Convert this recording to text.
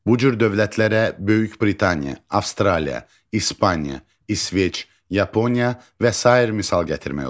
Bu cür dövlətlərə Böyük Britaniya, Avstraliya, İspaniya, İsveç, Yaponiya və sair misal gətirmək olar.